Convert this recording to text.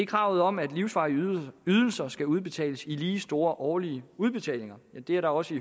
kravet om at livsvarige ydelser skal udbetales i lige store årlige udbetalinger og det er da også